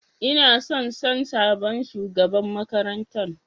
Ina son San sabon shugaban makarantan.